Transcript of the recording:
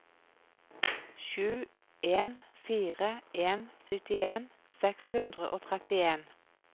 sju en fire en syttien seks hundre og trettien